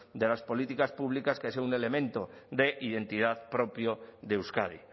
de las políticas públicas que es un elemento de identidad propio de euskadi